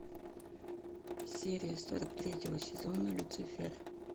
серия сорок третьего сезона люцифер